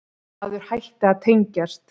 Maður hætti að tengjast.